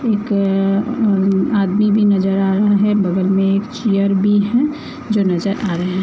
एक अम अम आदमी भी नजर आ रहा हैं बगल में एक चेयर भी हैं जो नजर आ रही है।